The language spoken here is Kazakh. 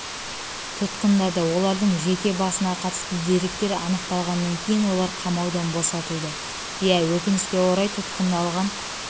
тұтқындады олардың жеке басына қатысты деректер анықталғаннан кейін олар қамаудан босатылды иә өкінішке қарай тұтқындалған